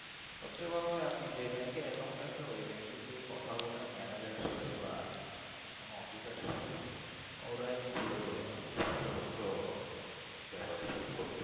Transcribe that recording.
সবচেয়ে ভালো আপনি যে যে bank এ account আছে, ওই bank এ গিয়ে কথা বলুন manager সাথে বা বা কোন officer সাথে খুলে দেবে সঞ্জয় পত্র ব্যাপারে help করবে।